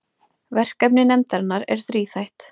Verkefni nefndarinnar er þríþætt